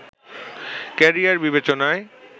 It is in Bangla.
ক্যারিয়ার বিবেচনায়